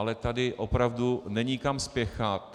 Ale tady opravdu není kam spěchat.